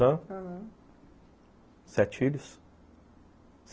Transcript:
aham, sete filhos.